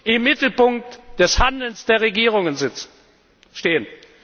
im Mittelpunkt des Handelns der Regierungen stehen!